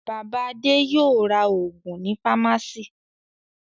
Bàbá Adé yóò ra òògùn ní fámásíì.